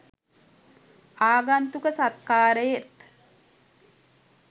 ආගන්තුක සත්කාරයෙත්